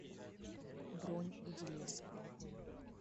бронь иди лесом